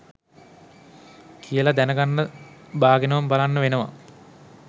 කියල දැනගන්න බාගෙනම බලන්න වෙනව